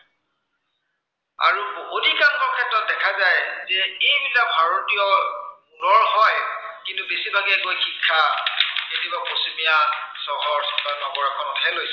অধিকাংশৰ ক্ষেত্ৰত দেখা যায় যে ই বা ভাৰতীয় হয়। কিন্তু বেছিভাগেই গৈ শিক্ষা পশ্চিমীয়া চহৰ বা নগৰ এখনতহে লৈছে।